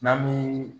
N'an bi